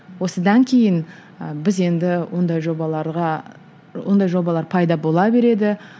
осыдан кейін ы біз енді ондай жобаларға ондай жобалар пайда бола береді